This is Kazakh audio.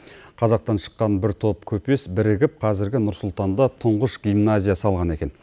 қазақтан шыққан бір топ көпес бірігіп қазіргі нұр сұлтанда тұңғыш гимназия салған екен